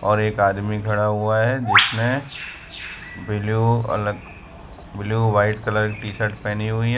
और एक आदमी खड़ा हुआ है जिसने ब्ल्यू अलग ब्ल्यू व्हाइट कलर की टी शर्ट पहनी हुई है।